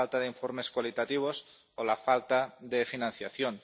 la falta de informes cualitativos o la falta de financiación.